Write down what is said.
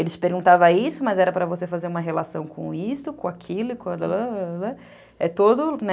Ele te perguntava isso, mas era para você fazer uma relação com isso, com aquilo, com... É todo, né?